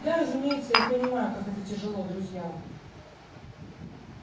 да разумеется я понимаю как это тяжело друзьям